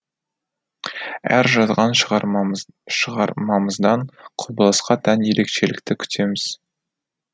әр жазған шығармамыз шығармамыздан құбылысқа тән ерекшелікті күтеміз